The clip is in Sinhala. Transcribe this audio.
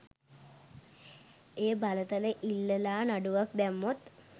ඒ බලතල ඉල්ලලා නඩුවක් දැම්මොත්